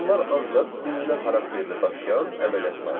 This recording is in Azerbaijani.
Bunlar ancaq nümunə xarakterli daşıyan əməliyyatlardır.